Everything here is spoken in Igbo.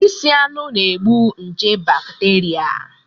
Isi anụ na-egbu nje bakteria